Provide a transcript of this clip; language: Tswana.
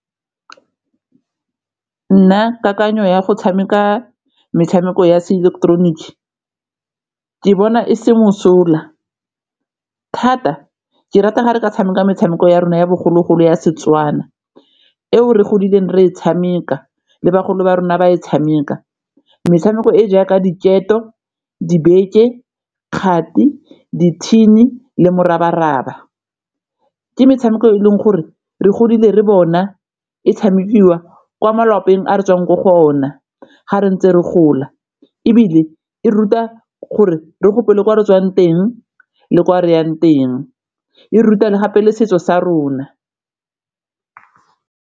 Nna kakanyo ya go tshameka metshameko ya seileketeroniki ke bona e se mosola thata ke rata gare ka tshameka metshameko ya rona ya bogologolo ya Setswana eo re godileng re e tshameka le bagolo ba rona ba e tshameka metshameko e jaaka diketo, dibeke, kgati, di-tin-i le morabaraba ke metshameko e leng gore re godile re bona e tshamekiwa kwa malapeng a re tswang ko go ona ga re ntse re gola ebile e ruta gore re gopole ko re tswang teng le ko re yang teng, e ruta le gape le setso sa rona.